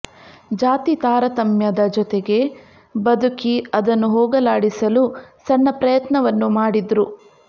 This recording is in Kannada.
ಜಾತಿ ತಾರತಮ್ಯದ ಜೊತೆಗೆ ಬದುಕಿ ಅದನ್ನು ಹೋಗಲಾಡಿಸಲು ಸಣ್ಣ ಪ್ರಯತ್ನವನ್ನು ಮಾಡಿದ್ರು